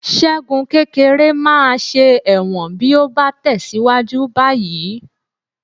Ṣẹ́gun kékeré máa ṣe ẹ̀wọ̀n bí ó bá tẹ̀síwájú báyìí